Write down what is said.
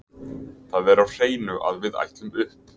Það er á hreinu að við ætlum upp.